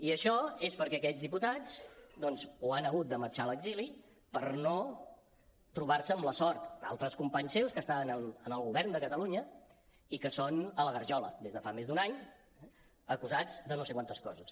i això és perquè aquests diputats doncs o han hagut de marxar a l’exili per no trobar se amb la sort d’altres companys seus que estaven en el govern de catalunya i que són a la garjola des de fa més d’un any acusats de no sé quantes coses